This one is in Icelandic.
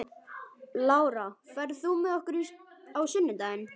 Lára, ferð þú með okkur á sunnudaginn?